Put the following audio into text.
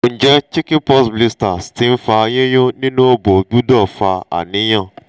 nje chicken pox blisters ti n fa yinyun ninu obo gbudo fa aniyan?